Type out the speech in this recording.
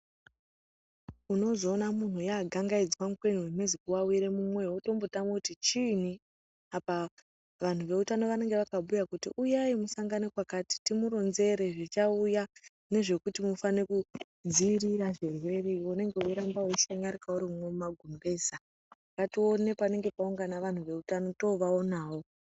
Unozoona munhu yagangaidzwa mukwena wemhezi kuwawira mumwoyo mwotombotame kuti chiinyi apa vantu veutano vanenge vakabhuya kuti uyai musangane kwakati, timuronzere zvichauya nezvekuti mufane kudzivirira zvirwere, iwe unenge weiramba weishanyarika urimwo mumagumbeza. Ngatione panenge paungane vantu veutano toovaonawo.